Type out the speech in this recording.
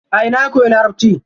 A ina ya koyi larabci?